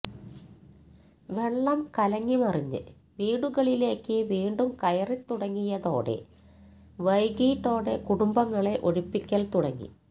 വെള്ളം കലങ്ങിമറിഞ്ഞ് വീടുകളിലേക്ക് വീണ്ടും കയറിത്തുടങ്ങിയതോടെ വൈകീട്ടോടെ കുടുംബങ്ങളെ ഒഴിപ്പിക്കൽ തുടങ്ങി